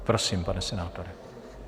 Prosím, pane senátore.